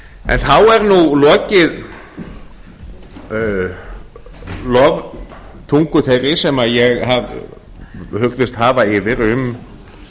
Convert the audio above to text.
en þá er nú lokið loftungu þeirri sem ég hugðist hafa yfir um